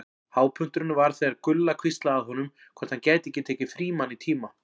Hápunkturinn var þegar Gulla hvíslaði að honum hvort hann gæti ekki tekið Frímann í tíma.